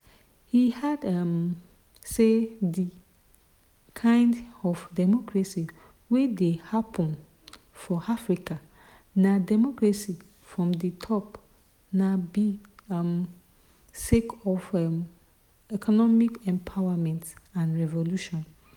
e add um say di kind of democracy wey dey happun for africa na "democracy from di top na be um sake of economic empowerment and revolution'.